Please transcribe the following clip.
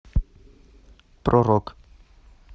про рок